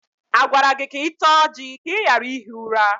A gwara gị ka ị taa ọjị ka ị ghara ihi ụra?